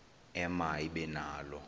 ema ibe nalo